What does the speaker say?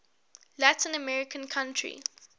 latin american country